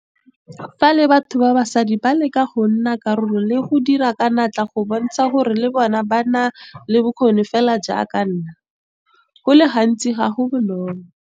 Le fa batho ba basadi ba leka go nna karolo le go dira ka natla go bontsha gore le bona ba na le bokgoni fela jaaka ba nna, go le gantsi ga go bonolo.